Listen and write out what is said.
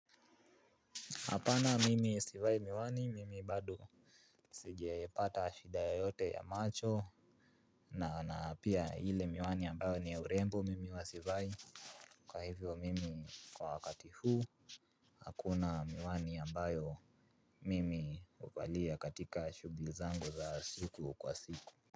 Hapana mimi sivai miwani, mimi bado sijaipata shida yoyote ya macho na pia ile miwani ambayo ni ya urembo mimi huwa sivai. Kwa hivyo mimi kwa wakati huu, hakuna miwani ambayo mimi huvalia katika shughuli zangu za siku kwa siku.